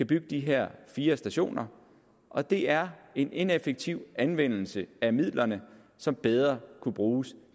bygge de her fire stationer og det er en ineffektiv anvendelse af midlerne som bedre kunne bruges